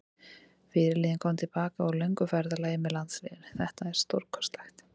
Fyrirliðinn kom til baka úr löngu ferðalagi með landsliðinu, þetta er stórkostlegt.